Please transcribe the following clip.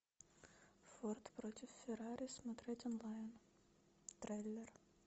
форд против феррари смотреть онлайн трейлер